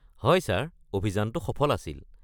হয় ছাৰ, অভিযানটো সফল আছিল।